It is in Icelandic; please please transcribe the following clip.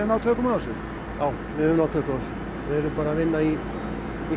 náð tökum á þessu erum bara að vinna í